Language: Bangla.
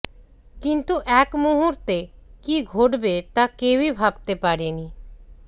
কিন্তু এক মুহূর্তে কি ঘটবে তা কেউই ভাবতে পারেনি